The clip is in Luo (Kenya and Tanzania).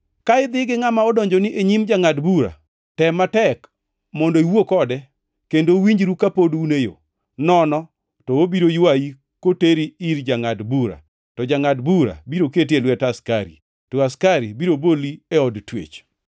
Ka idhi gi ngʼama odonjoni e nyim jangʼad bura, tem matek mondo iwuo kode kendo uwinjru kapod un e yo, nono to obiro ywayi koteri ir jangʼad bura, to jangʼad bura biro keti e lwet askari, to askari biro boli e od twech.